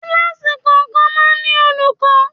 Kíláàsì kọ̀ọ̀kan máa ń ní olùkọ́.